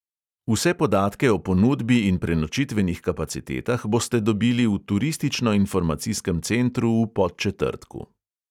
Vse podatke o ponudbi in prenočitvenih kapacitetah boste dobili v turistično-informacijskem centru v podčetrtku.